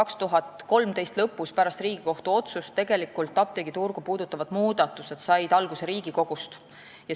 " 2013. aasta lõpus, pärast Riigikohtu otsust said apteegiturgu puudutavad muudatused alguse Riigikogust.